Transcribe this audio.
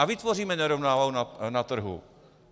A vytvoříme nerovnováhu na trhu.